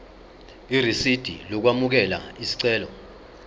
irisidi lokwamukela isicelo